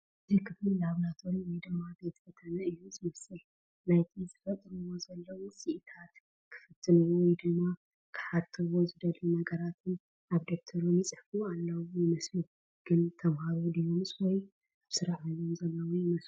እዚ ክፍሊ ላቮራቶሩ ወይ ድማ ቤተ ፈተነ እዩ ዝመስል ናይት ዝፍትሩዎ ዘለዉ ውጤታትን ክፍትንዎ ወይ ድማ ክሓትዎ ዝደልዩ ነገራትን ኣብ ደብተሮም ይፅሕፉ ዘለዉ ይመስሉ ፡ ግን ተመሃሮ ድዩምስ ወይ ኣብ ስራሕ ዓለም ዘለዉ ይመስሉ ?